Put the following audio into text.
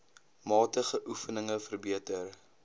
matige oefeninge verbeter